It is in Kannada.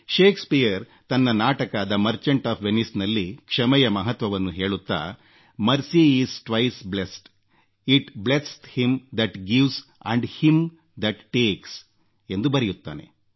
ಶೇಕ್ಸಪಿಯರ್ ತನ್ನ ನಾಟಕ ದಿ ಮರ್ಚೆಂಟ್ ಆಫ್ ವೆನಿಸ್ನಲ್ಲಿ ಕ್ಷಮೆಯ ಮಹತ್ವವನ್ನು ಹೇಳುತ್ತಾ mercy is twice blest it blesseth him that gives and him that takes ಎಂದು ಬರೆಯುತ್ತಾನೆ